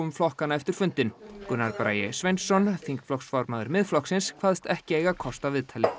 flokkanna eftir fundinn Gunnar Bragi Sveinsson þingflokksformaður Miðflokksins kvaðst ekki eiga kost á viðtali